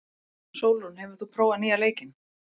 Sólrún, hefur þú prófað nýja leikinn?